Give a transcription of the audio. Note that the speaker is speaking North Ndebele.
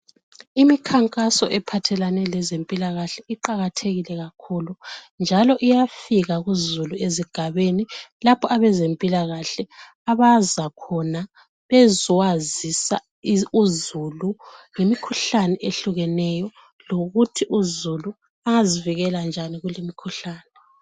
Imikhankaso ephathelane lezempilakahle iqakathekile kakhulu njalo iyafika kuzulu ezigabeni lapha abezempilakahle abaza khona bezowazisa uzulu ngemikhuhlane ehlukeneyo lokuthi uzulu angazivikela njani kuli mkhuhlane.